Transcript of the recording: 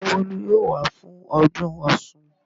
Ṣé Bólú yóò wá fún ọdún Ọ̀ṣun?